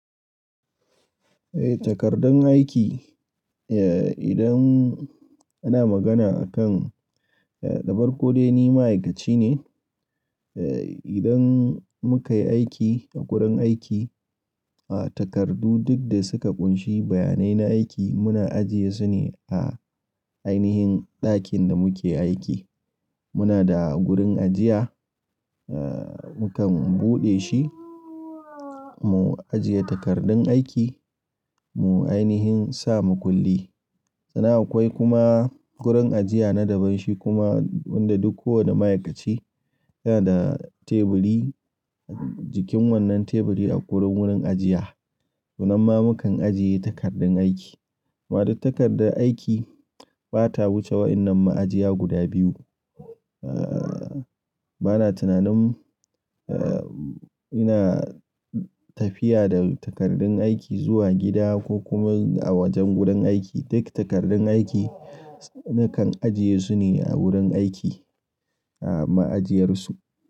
Eh takardun aiki, eh idan ana magana akan eh da faeko dai ni ma'aikaci ne, eh idan muka yi aiki a gurin aiki, a takardu duk da suka ƙunshi bayanai na aiki muna ajiye su ne a ainihin ɗakin da muke aiki. Muna da gurin ajiya, eh mukan buɗe shi, mu ajiye takardun aiki, mu ainihin sa makulli. Sanan akwai kuma gurin ajiya na daban shi kuma wanda duk kowane ma'aikaci yana da teburi, jikin wannan teburi a kwai wurin ajiya. To nan ma mukan ajiye takardun aiki. Maɗai takardar aiki bata wuce wa'inan ma'ajiya guda biyu. Eh bana tunanin eh ina tafiya da takardun aiki zuwa gida ko kuma a wajen gurin aiki. Duk takardun aiki nakan ajiye su ne a wurin aiki a ma'ajiyarsu.